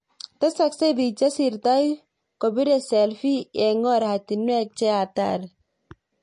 Tesasksei biik chesirtoi kobire selfi eng koratinwek che hatari